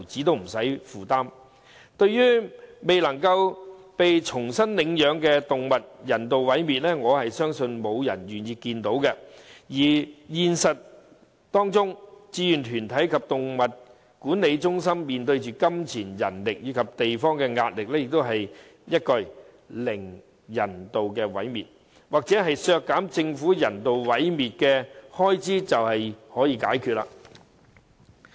對於未能被重新領養的動物遭人道毀滅，我相信沒有人會願意看到；而在現實中，志願團體及動物管理中心面對資金、人手及選址的壓力，亦不是一句"零人道毀滅"或削減政府人道毀滅的開支便可解決。